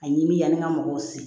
A ɲimiyani ka mɔgɔw se